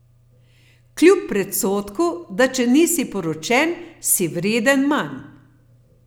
Kljub predsodku, da če nisi poročen, si vreden manj.